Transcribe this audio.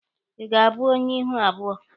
Ị ga-abụ onye ihu abụọ?